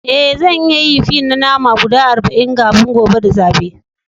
Eh, zan iya yin fi na nama guda arba'in kafin gobe da safe.